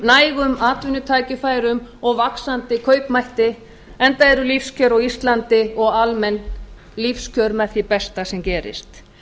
nægum atvinnutækifærum og vaxandi kaupmætti enda eru lífskjör á íslandi og almenn lífskjör með því besta sem gerist